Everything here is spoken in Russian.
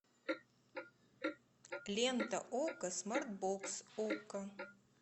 лента окко смарт бокс окко